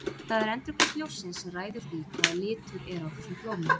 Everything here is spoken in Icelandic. Það er endurkast ljóssins sem ræður því hvaða litur er á þessum blómum.